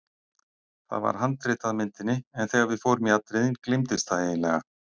Það var handrit að myndinni en þegar við fórum í atriðin gleymdist það eiginlega.